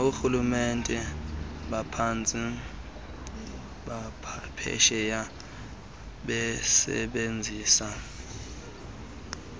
nakoorhulumente baphesheya besebenzisana